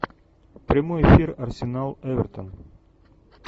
прямой эфир арсенал эвертон